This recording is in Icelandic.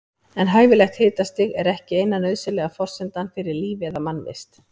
En hæfilegt hitastig er ekki eina nauðsynlega forsendan fyrir lífi eða mannvist.